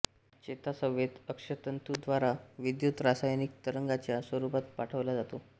चेता संवेद अक्षतंतूद्वारा विद्युत रासायनिक तरंगाच्या स्वरूपात पाठवला जातो